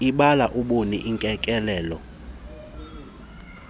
ibala ubuni ukekelelo